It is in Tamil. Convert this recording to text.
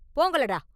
போங்களடா!